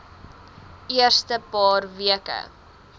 eerste paar weke